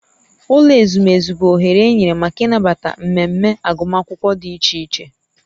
Ụlọ ezumezu bụ oghere enyere maka ịnabata mmemme agụmakwụkwọ dị iche iche